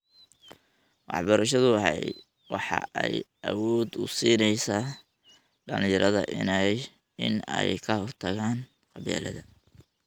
Waxbarashadu waxa ay awood u siinaysaa dhalinyarada in ay ka hortagaan qabyaalada.